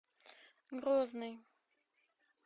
грозный